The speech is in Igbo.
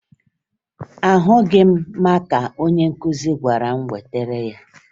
Ahụghị m maka onye nkụzi gwara m wetara ya